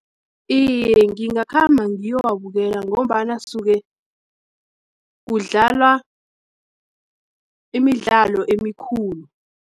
Iye, ngingakhamba ngiyowabukela, ngombana soke kudlalwa, imidlalo emikhulu.